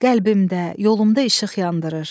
Qəlbimdə, yolumda işıq yandırır.